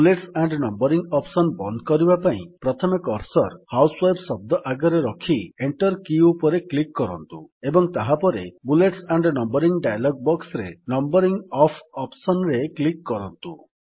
bullets and numbering option ବନ୍ଦ କରିବା ପାଇଁ ପ୍ରଥମେ କର୍ସର୍ ହାଉସୱାଇଫ୍ ଶବ୍ଦ ଆଗରେ ରଖି ପ୍ରଥମେ ଏଣ୍ଟର୍ କୀ ଉପରେ କ୍ଲିକ୍ କରନ୍ତୁ ଏବଂ ତାହାପରେ ବୁଲେଟ୍ସ ଆଣ୍ଡ୍ ନମ୍ୱରିଙ୍ଗ୍ ଡାୟଲଗ୍ ବକ୍ସରେ ନମ୍ୱରିଙ୍ଗ ଅଫ୍ ଅପ୍ସନ୍ ରେ କ୍ଲିକ୍ କରନ୍ତୁ